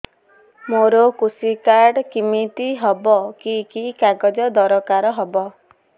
ମୋର କୃଷି କାର୍ଡ କିମିତି ହବ କି କି କାଗଜ ଦରକାର ହବ